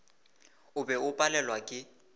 o be o palelwa ke